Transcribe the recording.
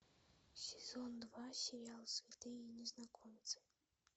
сезон два сериал святые незнакомцы